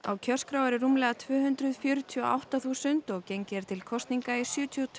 á kjörskrá eru rúmlega tvö hundruð fjörutíu og átta þúsund og gengið er til kosninga í sjötíu og